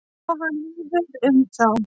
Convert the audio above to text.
Og hann líður um þá.